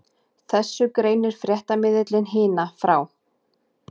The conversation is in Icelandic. Þessu greinir fréttamiðillinn Hina frá